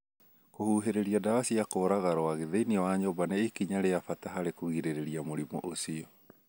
Kũhũhĩrĩria ndawa cia kũũraga rwagĩ thĩinĩ wa nyũmba nĩ ikinya rĩa bata harĩ kũgirĩrĩria mũrimũ ũcio.